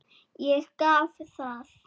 Ég gaf það.